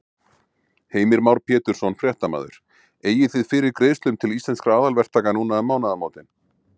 Heimir Már Pétursson, fréttamaður: Eigið þið fyrir greiðslum til Íslenskra aðalverktaka núna um mánaðamótin?